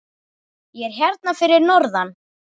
Ég er hérna fyrir norðan.